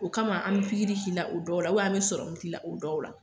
O kama an me pigiri k'i la o dɔw la ubiyɛn an me sɔrɔmu k'ila dɔw la